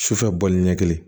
Sufɛ bɔli ɲɛ kelen